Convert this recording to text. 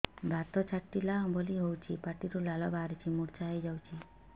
ବାତ ଛାଟିଲା ଭଳି ହଉଚି ପାଟିରୁ ଲାଳ ବାହାରି ମୁର୍ଚ୍ଛା ହେଇଯାଉଛି